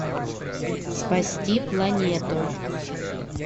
спасти планету